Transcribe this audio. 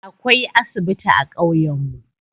Akwai asibiti a ƙauyan mu.